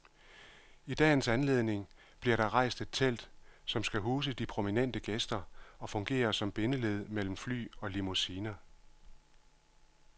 I dagens anledning bliver der rejst et telt, som skal huse de prominente gæster og fungere som bindeled mellem fly og limousiner.